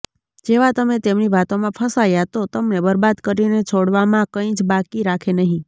જેવા તમે તેમની વાતોમાં ફસાયા તો તમને બરબાદ કરીને છોડવામાં કઈ જ બાકી રાખે નહીં